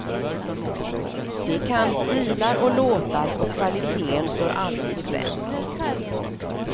De kan stilar och låtar och kvaliteten står alltid främst.